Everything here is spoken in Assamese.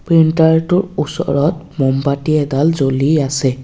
ফিল্টাৰটোৰ ওচৰত মোমবাতি এডাল জ্বলি আছে।